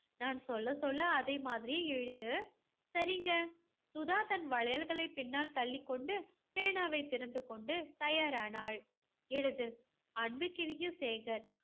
நான் சொல்ல சொல்ல அதே மாதிரியே எழுது. சரிங்க. சுதா தன் வளையல்களை பின்னால் தள்ளிக் கொண்டு பேனாவை திறந்து கொண்டு தயாரானாள். எழுது. அன்புக்கினிய சேகர்